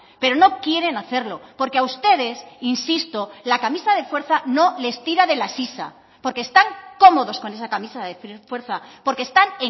pero no quieren hacerlo porque a ustedes insisto la camisa de fuerza no les tira de la sisa porque están cómodos con esa camisa de fuerza porque están